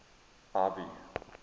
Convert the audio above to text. ivy